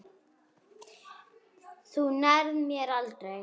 Þú nærð mér aldrei.